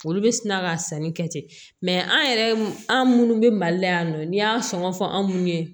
Olu bɛ sina ka sanni kɛ ten mɛ an yɛrɛ an minnu bɛ mali la yan nɔ n'i y'an sɔn sɔngɔ fɔ an ye